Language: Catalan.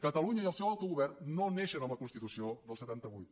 catalunya i el seu autogovern no neixen amb la constitució del setanta vuit